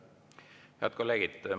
Head kolleegid!